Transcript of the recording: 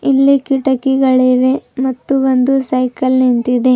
ಇಲ್ಲಿ ಕಿಟಕಿಗಳಿವೆ ಮತ್ತು ಒಂದು ಸೈಕಲ್ ನಿಂತಿದೆ.